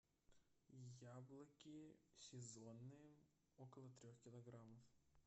яблоки сезонные около трех килограммов